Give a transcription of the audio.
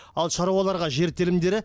ал шаруаларға жер телімдері